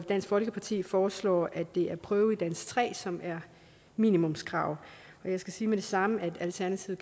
dansk folkeparti foreslår at det er prøve i dansk tre som er minimumskrav jeg skal sige med det samme at alternativet